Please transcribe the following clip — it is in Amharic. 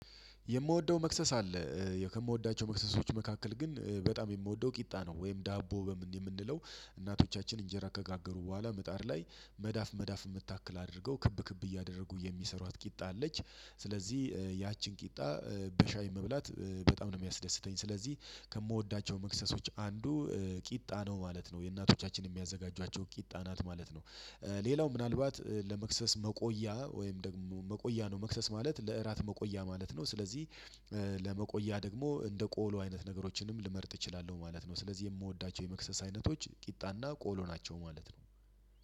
የምወደው መክሰስ አለ። ከምወዳቸው መክሰሶች መካከል ግን በጣም የምወደው ቂጣ ነው። ወይም ዳቦ በምን የምንለው እናቶቻችን እንጀራ ከጋገሩ በኋላ ምጣድ ላይ መዳፍ መዳፍ የምታክል አድርገው ክብ ክብ እያደረጉ የሚሰሯት ቂጣ አለች። ስለዚህ ያቺን ቂጣ በሻይ መብላት በጣም ነው የሚያስደስተኝ። ስለዚህ ከምወዳቸው መክሰሶች አንዱ ቂጣ ነው ማለት ነው። የእናቶቻችን የሚያዘጋጇቸው ቂጣ ናት ማለት ነው። ሌላው ምናልባት ለመክሰስ መቆያ ወይም ደግሞ መቆያ ነው መክሰስ ማለት ለእራት መቆያ ማለት ነው። ስለዚህ ለመቆያ ደግሞ እንደ ቆሎ አይነት ነገሮችንም ልመርጥ እችላለሁ ማለት ነው። ስለዚህ የምወዳቸው የመክሰስ አይነቶች ቂጣና ቆሎ ናቸው ማለት ነው።